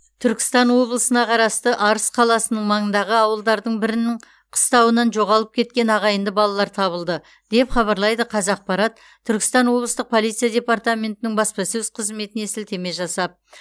түркістан облысына қарасты арыс қаласының маңындағы ауылдардың бірінің қыстауынан жоғалып кеткен ағайынды балалар табылды деп хабарлайды қазақпарат түркістан облыстық полиция департаментінің баспасөз қызметіне сілтеме жасап